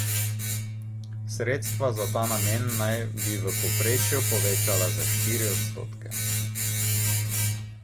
Sredstva za ta namen naj bi v povprečju povečala za štiri odstotke.